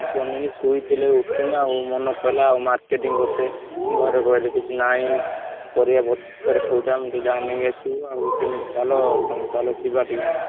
ମନେପଡ଼ିଲା marketing କରତେ ଘରେ କହିଲେ କିଛି ନାହିଁ ପରିବାପତ୍ର ସଉଦା ମୁଁ ଟିକେ ଯାଇ ନେଇଆସିବୁ ଆଉ ତମେ ଚାଲ ତମେ ତାଲ ଟିକେ ଯିବା ଆମେ।